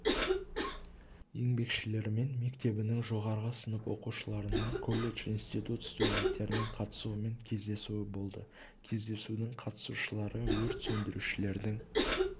еңбекшілерімен мектебінің жоғары сынып оқушыларының колледж институт студенттерінің қатысуымен кездесуі болды кездесудің қатысушылары өрт сөндірушілердің